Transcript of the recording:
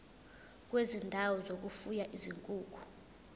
kwezindawo zokufuya izinkukhu